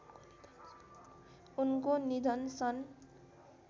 उनको निधन सन्